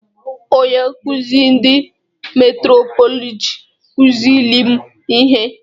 Onye nkụzị ndị antrọpọlọjị kụzịịlị m ihe.